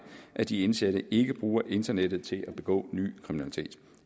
at de indsatte ikke bruger internettet til at begå ny kriminalitet